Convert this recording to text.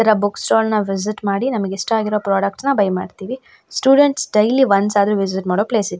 ಈ ತರ book stall ನ ವಿಸಿಟ್ ಮಾಡಿ ನಮ್ಗೆ ಇಷ್ಟ ಆಗಿರೊ ಪ್ರಾಡಕ್ಟ್ಸ್ ನ ಬೈ ಮಾಡ್ತೀವಿ ಸ್ಟೂಡೆಂಟ್ಸ್ ಡೈಲಿ ಒನ್ಸ್ ಆದ್ರು ವಿಸಿಟ್ ಮಾಡೊ ಪ್ಲೇಸ್ ಇದು.